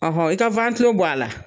Ɔhɔn i ka wantilo bɔ ala